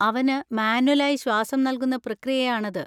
അവന് മാന്വൽ ആയി ശ്വാസം നൽകുന്ന പ്രക്രിയ ആണത്.